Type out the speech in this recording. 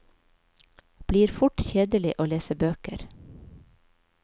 Blir fort kjedelig å lese bøker.